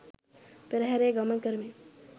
පෙරහැරේ ගමන් කරමින්